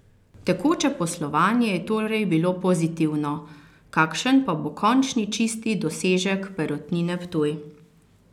Tekoče poslovanje je torej bilo pozitivno, kakšen pa bo končni čisti dosežek Perutnine Ptuj?